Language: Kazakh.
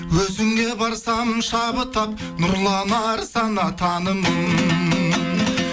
өзіңе барсам шабыт ап нұрланар сана танымым